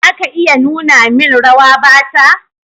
Za ka iya nuna min rawa Bata?